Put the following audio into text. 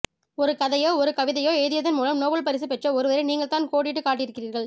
ஒரு கதையையோ ஒரு கவிதையையோ எழுதியதன் மூலம் நோபல் பரிசு பெற்ற ஒருவரை நீங்கள்தான் கோடிட்டுக் காட்டியிருக்கிறீர்கள்